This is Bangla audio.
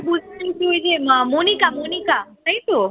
বুঝতেছি যে আহ মনিকা মনিকা তাইতো?